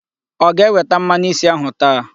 Ọ ga-eweta mmanụ isi ahụ taa?